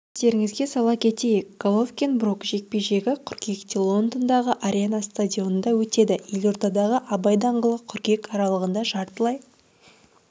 естеріңізге сала кетейік головкин-брук жекпе-жегі қыркүйекте лондондағы арена стадионында өтеді елордадағы абай даңғылы қыркүйек аралығында жартылай